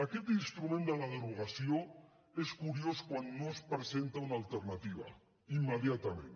aquest instrument de la derogació és curiós quan no es presenta una alternativa immediatament